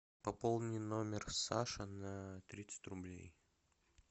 пополни номер саши на тридцать рублей